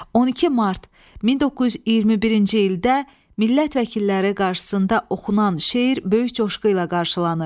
12 mart 1921-ci ildə millət vəkilləri qarşısında oxunan şeir böyük coşqu ilə qarşılanır.